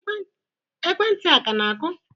Ekwentị a ka na-akụ?